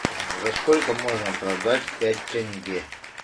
за сколько можно продать пять тенге